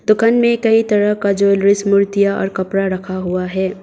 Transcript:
दुकान में कई तरह का ज्वैलरीज मूर्तियां और कपड़ा रखा हुआ है।